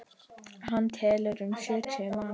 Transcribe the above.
Hann telur um sjötíu manns.